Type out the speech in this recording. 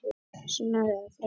Sunna, hvað er að frétta?